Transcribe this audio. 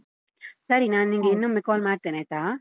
ಸರಿ ನಾ ನಿಂಗೆ ಇನ್ನೊಮ್ಮೆ call ಮಾಡ್ತೇನೆ ಆಯ್ತಾ?